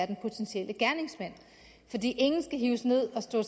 den potentielle gerningsmand fordi ingen skal hives ned og stå